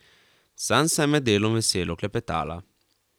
Sansa je med delom veselo klepetala.